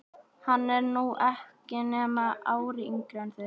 Hann er nú ekki nema ári yngri en þið.